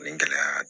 Nin gɛlɛya